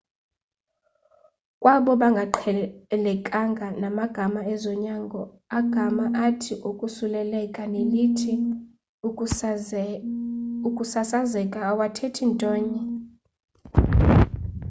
kwabo bangaqhelekanga namagama ezonyango agama athi ukosuleleka nelithi ukusasazeka awathethi nto enye